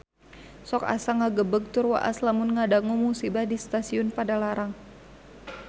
Sok asa ngagebeg tur waas lamun ngadangu musibah di Stasiun Padalarang